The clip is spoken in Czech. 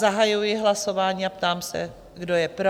Zahajuji hlasování a ptám se, kdo je pro?